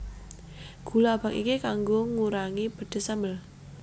Gula abang iki kanggo ngurangi pedes sambel